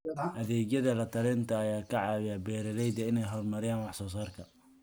Adeegyada la-talinta ayaa ka caawiya beeralayda inay horumariyaan wax soo saarka.